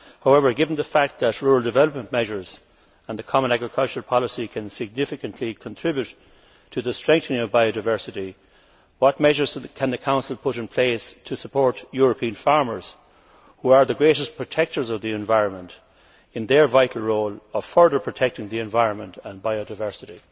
However, given the fact that rural development measures and the common agricultural policy can significantly contribute to the strengthening of biodiversity, what measures can the Council put in place to support European farmers, who are the greatest protectors of the environment, in their vital role of further protecting the environment and biodiversity?